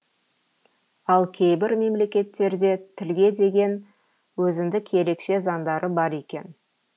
ал кейбір мемлекеттерде тілге деген өзіндік ерекше заңдары бар екен